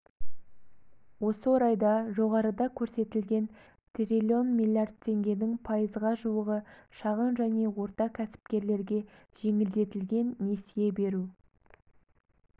осы орайда жоғарыда көрсетілген трлн млрд теңгенің пайызға жуығы шағын және орта кәсіпкерлерге жеңілдетілген несие беру